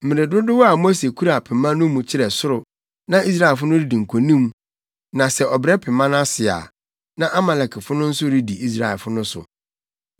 Mmere dodow a Mose kura pema no mu kyerɛ soro na Israelfo no redi nkonim na sɛ ɔbrɛ pema no ase a, na Amalekfo no nso redi Israelfo no so.